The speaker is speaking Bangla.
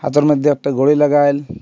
পাথর মধ্যে একটা ঘড়ি লাগাইল।